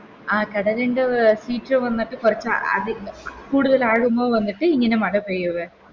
ആ കടലിൻറെ അഹ് Feature വന്നിട്ട് കൊറച്ച് അത് അഹ് കൂടുതൽ ആഴങ്ങൾ വന്നിട്ട് ഇങ്ങനെ മഴ പെയ്യുക